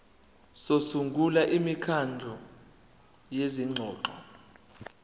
sokusungula imikhandlu yezingxoxo